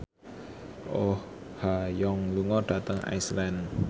Oh Ha Young lunga dhateng Iceland